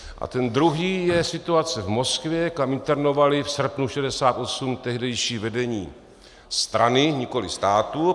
A ten druhý je situace v Moskvě, kam internovali v srpnu 1968 tehdejší vedení strany - nikoli státu.